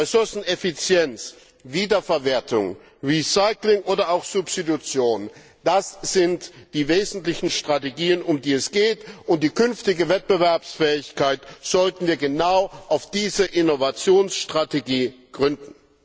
Ressourceneffizienz, Wiederverwertung, Recycling oder auch Substitution das sind die wesentlichen Strategien, um die es geht, und die künftige Wettbewerbsfähigkeit sollten wir genau auf diese Innovationsstrategie gründen.